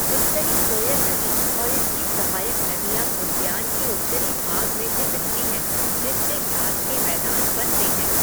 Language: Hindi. उत्तरी कोयल नदी और इसकी सहायक नदियाँ उद्यान के उत्तरी भाग में से बहती हैं, जिससे घास के मैदान बनते हैं।